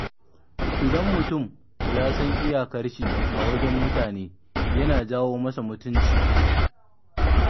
Idan mutum ya san iyakarshi a wajen mutane yana janyo masa mutunci.